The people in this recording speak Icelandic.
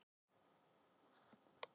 Hvar er farið út í hann?